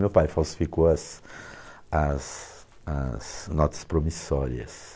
Meu pai falsificou as as as notas promissórias.